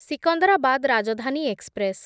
Secunderabad Rajdhani express